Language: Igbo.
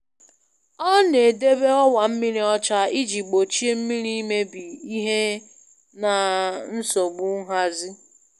Ọ na-edobe ọwa mmiri ọcha iji gbochie mmiri imebi ihe na nsogbu nhazi.